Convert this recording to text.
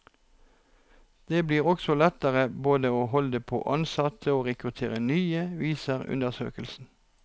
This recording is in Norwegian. Det blir også lettere både å holde på ansatte og rekruttere nye, viser undersøkelsen.